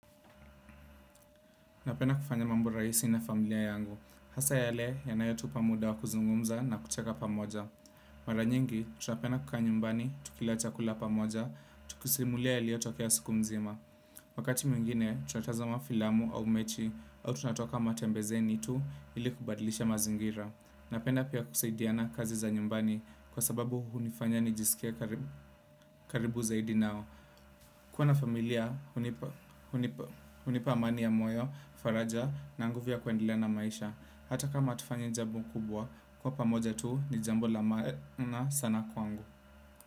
Napenda kufanya mambo rahisi na familia yangu. Hasa yale yanayotupa muda wa kuzungumza na kucheka pamoja. Mara nyingi, tunapenda kukaa nyumbani, tukila chakula pamoja, tukisimulia yalio tokea siku mzima. Wakati mwingine, tunatazama filamu au mechi au tunatoka matembezeni tu ili kubadilisha mazingira. Napenda pia kusaidiana kazi za nyumbani kwa sababu hunifanya nijisikie karibu zaidi nao. Kuwa na familia, hunipa amani ya moyo, faraja na nguvu ya kuendelea na maisha. Hata kama hatufanyi jambo kubwa, kuwa pamoja tu ni jambo la maana sana kwangu.